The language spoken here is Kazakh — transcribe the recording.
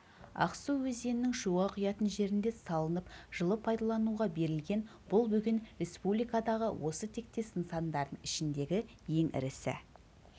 ақсу өзенінің шуға құятын жерінде салынып жылы пайдалануға берілген бұл бөген республикадағы осы тектес нысандардың ішіндегі ең ірісі